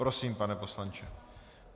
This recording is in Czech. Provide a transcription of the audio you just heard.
Prosím, pane poslanče.